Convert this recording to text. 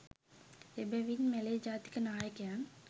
එබැවින් මැලේ ජාතික නායකයන්